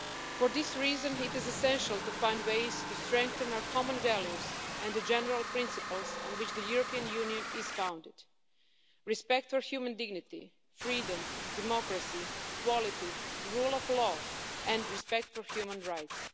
For this reason, it is essential to find ways to strengthen our common values and the general principles on which the European Union is founded respect for human dignity, freedom, democracy, equality, the rule of law and respect for human rights.